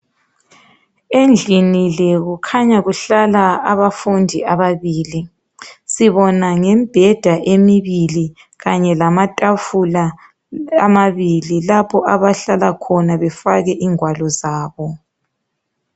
Endlini le kukhanya kuhlala abafundi ababili sibona ngembheda lamatafula amabili lapho abahlala khona befake ingwalo zabo.